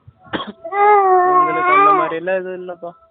எங்களுக்கு அந்த மாதிரிலாம் ஏதுவும் இல்லப்பா